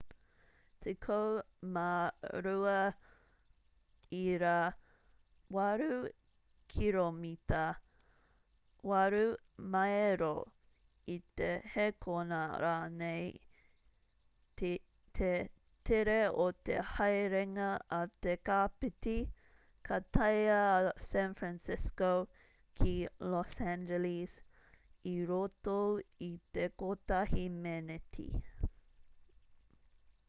12.8 kiromita 8 maero i te hēkona rānei te tere o te haerenga a te kapiti ka taea a san fransisco ki los angeles i roto i te kotahi meneti